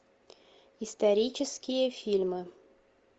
исторические фильмы